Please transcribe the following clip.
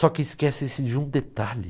Só que esquece-se de um detalhe.